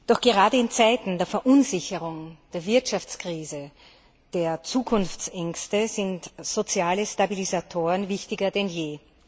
Doch gerade in Zeiten der Verunsicherung, der Wirtschaftskrise, der Zukunftsängste sind soziale Stabilisatoren wichtiger denn je.